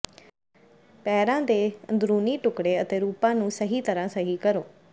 ਪੈਰਾਂ ਦੇ ਅੰਦਰੂਨੀ ਟੁਕੜੇ ਅਤੇ ਰੂਪਾਂ ਨੂੰ ਸਹੀ ਤਰ੍ਹਾਂ ਸਹੀ ਕਰੋ